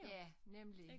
Ja nemlig